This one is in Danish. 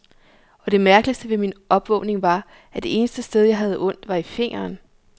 Og det mærkeligste ved min opvågning var, at det eneste sted, jeg havde ondt, var i fingeren.